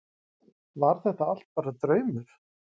Var þetta allt bara draumur?